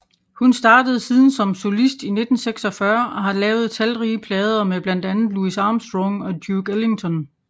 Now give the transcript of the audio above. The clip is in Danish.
Hun startede siden som solist i 1946 og har lavet talrige plader med blandt andet Louis Armstrong og Duke Ellington